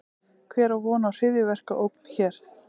Hver á von á hryðjuverkaógn hér?